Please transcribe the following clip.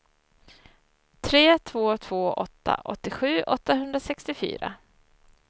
tre två två åtta åttiosju åttahundrasextiofyra